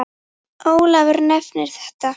Ólafur nefnir þetta